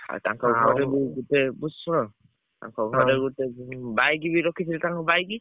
ଆଉ ତାଙ୍କ ଘରେ ବି ଟିକେ ଶୁଣ ତାଙ୍କ ଘରେ ଗୋଟେ ଯୋଉ bike ରଖିଥିଲେ ତାଙ୍କ bike